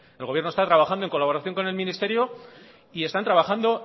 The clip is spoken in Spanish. el gobierno está trabajando en colaboración con el ministerio y están trabajando